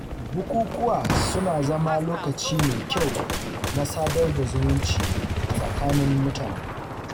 Bukukuwa suna zama lokaci mai kyau na sadar da zumunci a tsakanin mutane.